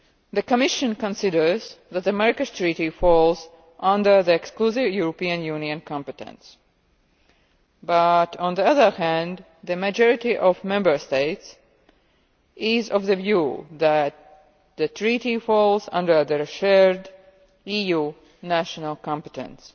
The Commission considers that the Marrakesh Treaty falls under exclusive European Union competence. On the other hand, the majority of Member States are of the view that the Treaty falls under shared EU national competence.